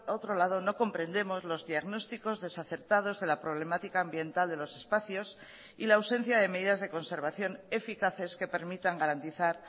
otro lado no comprendemos los diagnósticos desacertados de la problemática ambiental de los espacios y la ausencia de medidas de conservación eficaces que permitan garantizar